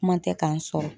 Kuma tɛ k'an sɔrɔ